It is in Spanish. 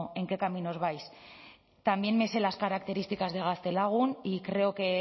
en qué caminos vais también me sé las características de gaztelagun y creo que